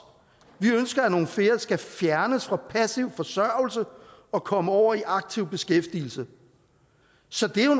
vi ønsker at nogle flere skal fjernes fra passiv forsørgelse og komme over i aktiv beskæftigelse så det er jo